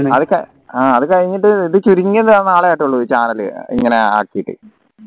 ആഹ് അത് കഴിഞ്ഞിട്ട് ഇത് ചുരുങ്ങിയ നാളെ ആയിട്ടുള്ളൂ ഈ channel ഇങ്ങനെ ആക്കിട്ട്